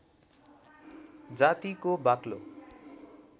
जातिको बाक्लो